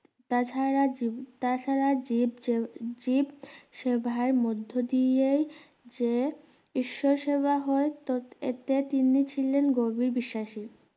তাছাড়া জীব তাছাড়া জীব যে জীব সেভার মধ্যে দিয়ে যে ঈশ্বর সেবা হয় ত~এতে তিনি ছিলেন গভীর বিশ্বাসী